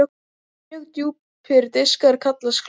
Mjög djúpir diskar kallast skálar.